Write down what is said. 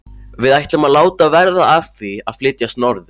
Við ætlum að láta verða af því að flytjast norður.